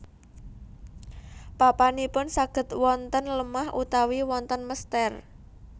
Papanipun saged wonten lemah utawi wonten mestèr